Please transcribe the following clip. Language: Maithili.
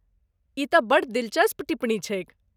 ई तँ बड्ड दिलचस्प टिप्पणी छैक।